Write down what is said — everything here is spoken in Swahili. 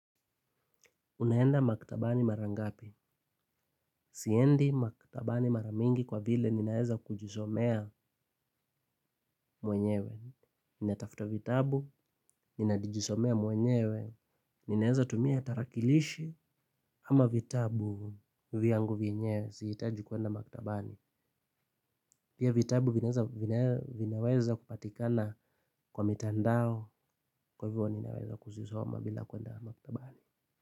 Unaenda maktabani mara ngapi? Siendi maktabani mara mingi kwa vile naweza kujisomea mwenyewe. Ninatafta vitabu, ninajisomea mwenyewe. Ninaeza tumia tarakilishi ama vitabu. Vyangu vyenyewe, sihitaji kuenda maktabani. Pia vitabu vinaweza kupatikana kwa mitandao kwa hivo ninaweza kuzisoma bila kuenda maktabani.